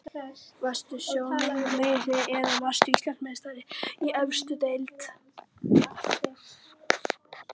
Varstu Sjóvá Almennrar meistari eða varðstu Íslandsmeistari í efstu deild?